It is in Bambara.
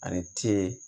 Ani t